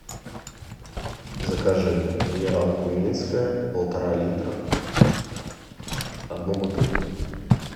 закажи минералку минская полтора литра одну бутылку